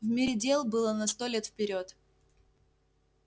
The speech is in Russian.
в мире дел было на сто лет вперёд